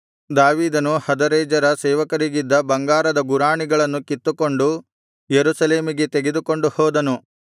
ದಾವೀದನು ಹದರೆಜರನ ಸೇವಕರಿಗಿದ್ದ ಬಂಗಾರದ ಗುರಾಣಿಗಳನ್ನು ಕಿತ್ತುಕೊಂಡು ಯೆರೂಸಲೇಮಿಗೆ ತೆಗೆದುಕೊಂಡು ಹೋದನು